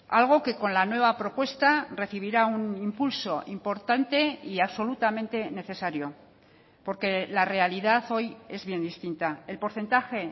algo que con la nueva propuesta recibirá un impulso importante y absolutamente necesario porque la realidad hoy es bien distinta el porcentaje